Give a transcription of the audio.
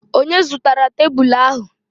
Onye zụtara tebụlụ ahụ?